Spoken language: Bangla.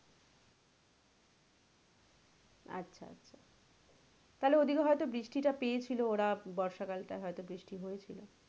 আচ্ছা আচ্ছা তাহলে ওদিকে হয়তো বৃষ্টি টা পেয়েছিলো ওরা বর্ষা কাল টায় হয়তো বৃষ্টি হয়েছিলো।